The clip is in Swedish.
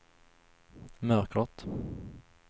mörkret